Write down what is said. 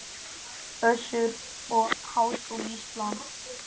Össur og Háskóli Ísland.